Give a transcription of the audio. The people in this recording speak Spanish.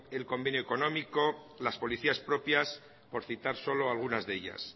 el convenio económico las policías propias por citar solo algunas de ellas